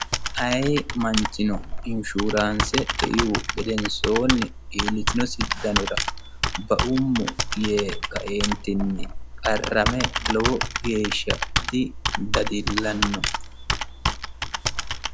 Ayi manchino inshuuraanse eihu gedensoonni iillitinosi danora baummo yee kae"entinni qarrame lowo geesha didadillanno.